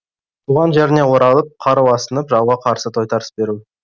туған жеріне оралып қару асынып жауға қарсы тойтарыс беру